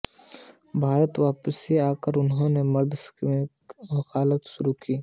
भारत वापिस आकर उन्होंने मद्रास में वकालत शुरू कर दी